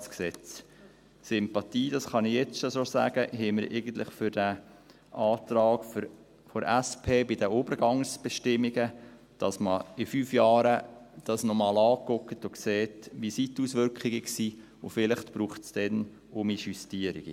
Sympathie haben wir eigentlich – das kann ich jetzt schon sagen – für den Antrag der SP bei den Übergangsbestimmungen: dass man dies in fünf Jahren noch einmal anschaut und schaut, wie die Auswirkungen waren, und vielleicht braucht es dann noch Justierungen.